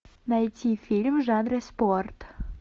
найти фильм в жанре спорт